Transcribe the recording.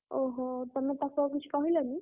ଓହୋ ତମେ ତାକୁ ଆଉ କିଛି କହିଲନି?